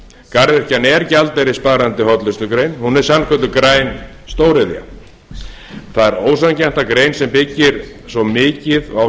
garðyrkjan er gjaldeyrissparandi hollustugrein hún er sannkölluð græn stóriðja það er ósanngjarnt að grein sem á